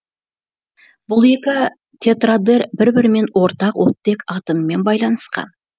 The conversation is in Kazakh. бұл екі тетрадэр бір бірімен ортақ оттек атомымен байланысқан